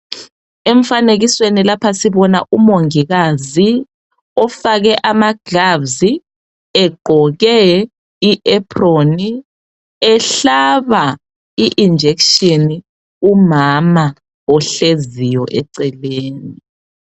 Emfanekisweni lapha sibona umongikazi ofake ama gloves, egqoke i apron, ehlaba i injection umama ohleziyo eceleni